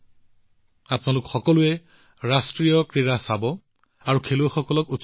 আপোনালোক সকলোৱে ৰাষ্ট্ৰীয় ক্ৰীড়া প্ৰত্যক্ষ কৰক আৰু আপোনাৰ খেলুৱৈসকলক উৎসাহিত কৰক